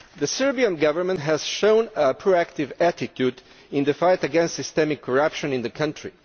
The Serbian Government has shown a proactive attitude in the fight against systemic corruption in the country.